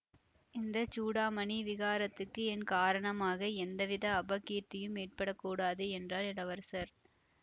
இந்த சூடாமணி விஹாரத்துக்கு என் காரணமாக எந்த வித அபகீர்த்தியும் ஏற்பட கூடாது என்றார் இளவரசர்